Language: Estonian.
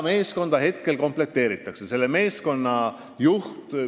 Meeskonda komplekteeritakse praegu ja selle juht on välja valitud.